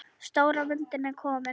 Stóra myndin er komin.